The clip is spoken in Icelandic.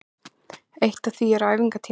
Eitt af því eru æfingatímar